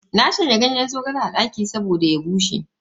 Na shanya ganyen zogalen a daki saboda ya bushe.